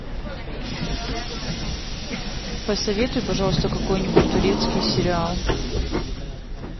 посоветуй пожалуйста какой нибудь турецкий сериал